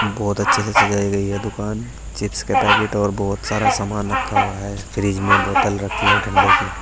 बहोत अच्छे से सजाई गई है दुकान चिप्स के पैकेट और बहोत सारा सामान रखा हुआ है फ्रिज में बोतल रखी है ठंडे की।